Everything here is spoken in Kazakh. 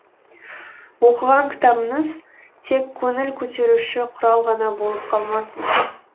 оқыған кітабыңыз тек көңіл көтеруші құрал ғана болып қалмасын